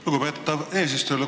Lugupeetav eesistuja!